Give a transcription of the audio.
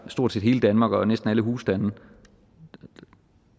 stort set hele danmark og næsten alle husstande